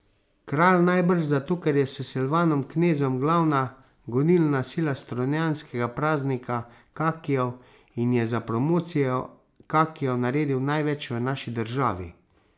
Kralj najbrž zato, ker je s Silvanom Knezom glavna gonilna sila strunjanskega praznika kakijev in je za promocijo kakijev naredil največ v naši državi.